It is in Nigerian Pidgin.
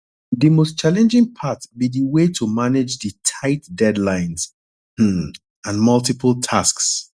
di most challenging part be di way to manage di tight deadlines um and multiple tasks